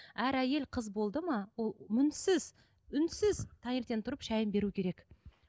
әр әйел қыз болды ма ол үнсіз үнсіз таңертең тұрып шайын беру керек